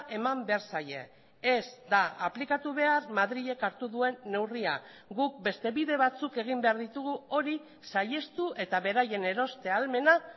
eman behar zaie ez da aplikatu behar madrilek hartu duen neurria guk beste bide batzuk egin behar ditugu hori saihestu eta beraien eroste ahalmena